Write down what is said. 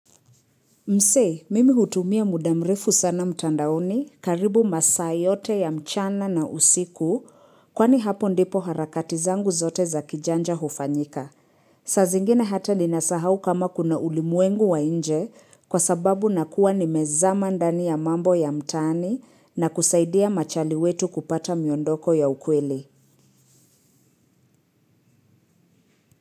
Msee, mimi hutumia muda mrefu sana mtandaoni karibu masaa yote ya mchana na usiku kwani hapo ndipo harakati zangu zote za kijanja hufanyika. Saa zingina hata ninasahau kama kuna ulimuengu wa nje kwa sababu nakuwa nimezama ndani ya mambo ya mtaani na kusaidia machali wetu kupata miondoko ya ukweli.